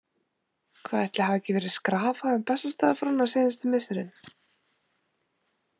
Hvað ætli hafi ekki verið skrafað um Bessastaðafrúna seinustu misserin?